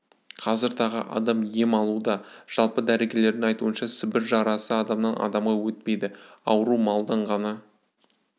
қазір тағы адам ем алуда жалпы дәрігерлердің айтуынша сібір жарасы адамнан адамға өтпейді ауру малдан ғана